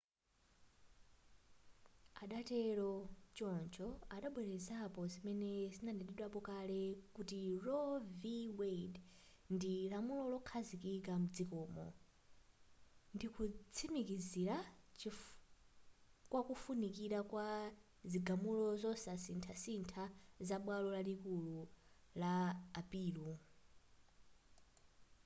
adatero choncho adabwelezapo zimene zidanenedwapo kale kuti roe v wade ndi lamulo lokhazikika mdzikomo ndikutsimikizira kwakufunikira kwa zigamulo zosasinthasintha za bwalo lalikulu la apilo